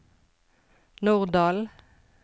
Norddal